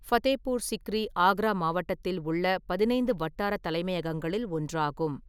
ஃபதேபூர் சிக்ரி ஆக்ரா மாவட்டத்தில் உள்ள பதினைந்து வட்டார தலைமையகங்களில் ஒன்றாகும்.